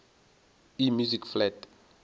e music flat